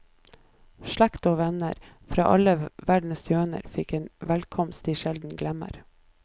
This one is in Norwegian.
Slekt og venner, fra alle verdenshjørner, fikk en velkomst de sjelden glemmer.